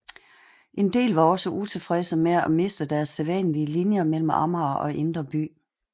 En del var også utilfredse med at miste deres sædvanlige linjer mellem Amager og Indre By